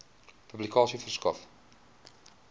publikasie verskaf